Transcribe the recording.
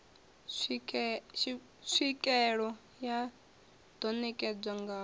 tswikeelo ya ḓo netshedzwa ngayo